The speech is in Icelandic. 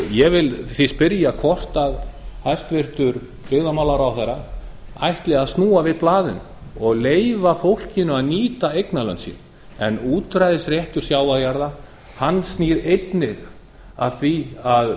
ég vil því spyrja hvort hæstvirtur byggðamálaráðherra ætli að snúa við blaðinu og leyfa fólkinu að nýta eignarlönd sín en útræðisréttur sjávarjarða snýr einnig að því að